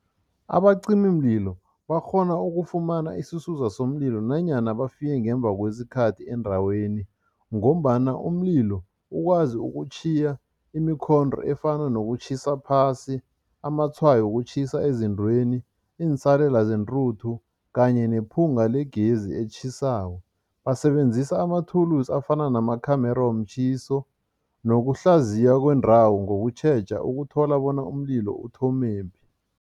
Abacimimlilo bakghona ukufumana isisusa somlilo nanyana bafike ngemva kwesikhathi endaweni ngombana umlilo ukwazi ukutjhiya imikhondo efana nokutjhisa phasi, amatshwayo wokutjhisa ezintweni, iinsalela zentuthu kanye nephunga legezi etjhisako. Basebenzisa amathulusi afana nama-camera womtjhiso nokuhlaziya kwendawo ngokutjheja ukuthola bona umlilo uthomephi.